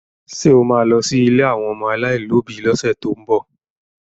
Ṣé o ma lọ sí ilé àwọn ọmọ aláìlóbi lọ́sẹ̀ tó ń bọ̀?